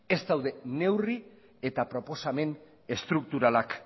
ez daude neurri eta proposamen estrukturalak